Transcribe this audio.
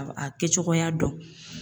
A a kɛ cogoya dɔn.